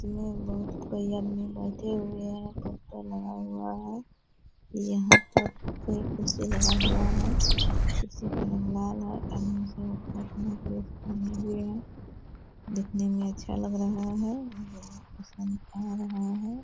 में बहुत कोई आदमी बैठे हुए हैं। पोस्टर लगा हुआ है। यहाँ पर कोई कुर्सी लगा हुआ है। कुर्सी एकदम लाल है हुए है। दिखने में अच्छा लग रहा है। बहुत पसंद आ रहा है।